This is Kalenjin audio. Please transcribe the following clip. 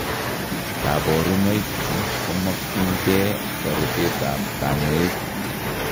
Kaborunoik chu komakyin kee toretet ab kanyoik